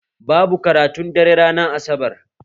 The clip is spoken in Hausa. Babu karatun dare ranar asabar